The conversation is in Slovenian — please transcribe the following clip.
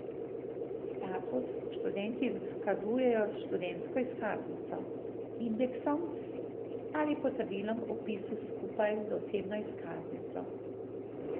Status študenti izkazujejo s študentsko izkaznico, indeksom ali potrdilom o vpisu skupaj z osebno izkaznico.